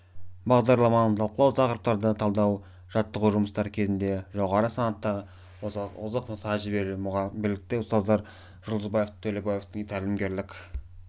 бағдарламаны талқылау тақырыптарды талдау жаттығу жұмыстары кезінде жоғары санатты озық тәжірибелі білікті ұстаздар жұлдызбаевтың төлеуованың тәлімгерлік